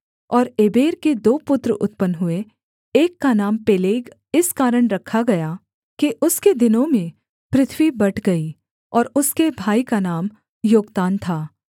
और एबेर के दो पुत्र उत्पन्न हुए एक का नाम पेलेग इस कारण रखा गया कि उसके दिनों में पृथ्वी बँट गई और उसके भाई का नाम योक्तान था